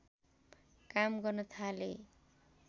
काम गर्न थाले